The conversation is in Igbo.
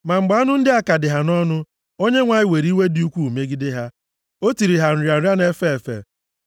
Ma mgbe anụ ndị a ka dị ha nʼọnụ, Onyenwe anyị were iwe dị ukwuu megide ha. O tiri ha nrịa nrịa na-efe efe.